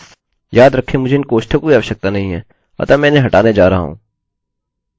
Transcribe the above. false याद रखें मुझे इन कोष्टकों की आवश्यकता नहीं है अतः मैं इन्हें हटाने जा रहा हूँ